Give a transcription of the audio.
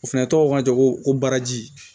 O fɛnɛ tɔgɔ ko ja ko baraji